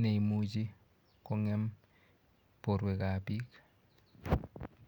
neimuchi kongem borwek ap biik